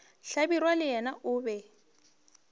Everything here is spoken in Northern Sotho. hlabirwa le yena o be